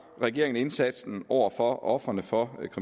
regeringen indsatsen over for ofrene for